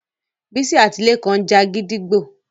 Bisola àti Lekan ńja gídígbò